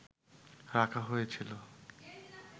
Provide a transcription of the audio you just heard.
রাখা হয়েছিল